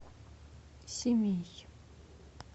семей